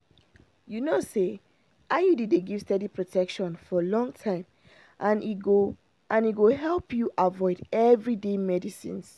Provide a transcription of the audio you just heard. you know say iud dey give steady protection for long time and e go and e go help you avoid everyday medicines.